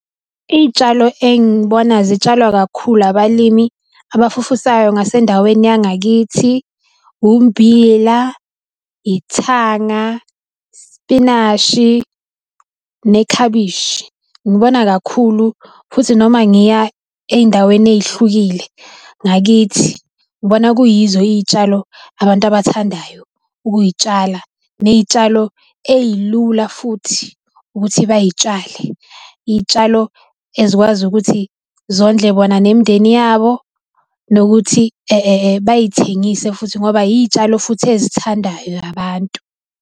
Iy'tshalo engibona zitshalwa kakhulu abalimi abafufusayo ngasendaweni yangakithi ummbila, ithanga, isipinashi, nekhabishi. Ngibona kakhulu futhi noma ngiya ey'ndaweni eyihlukile ngakithi, ngibona kuyizo iyitshalo abantu abathandayo ukuyitshala neyitshalo eyilula futhi ukuthi bayitshale. Iy'tshalo ezikwazi ukuthi zondle bona nemindeni yabo nokuthi bayithengise futhi ngoba iy'tshalo futhi ezithandwayo abantu.